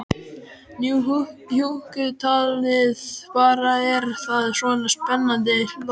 Nú hjúkkutalið bara, er það svona spennandi, hló hún.